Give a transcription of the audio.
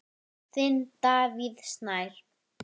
Þinn, Davíð Snær.